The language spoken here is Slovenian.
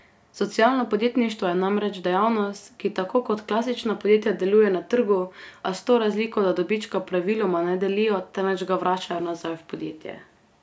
Socialno podjetništvo je namreč dejavnost, ki tako kot klasična podjetja deluje na trgu, a s to razliko, da dobička praviloma ne delijo, temveč ga vračajo nazaj v podjetje.